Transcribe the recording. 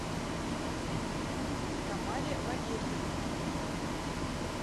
тамаре валерьевне